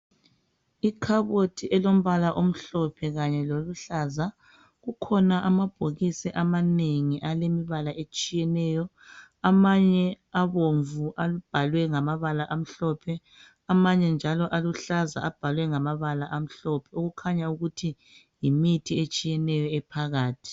Ikhabothi elombala omhlophe kanye loluhlaza. Kukhona amabhokisi amanengi alemibala etshiyeneyo, amanye abomvu abhalwe ngamabala amhlophe. Amanye njalo aluhlaza abhalwe ngamabala amhlophe, okukhanya ukuthi yimithi etshiyeneyo ephakathi.